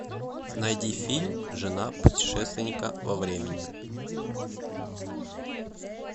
найди фильм жена путешественника во времени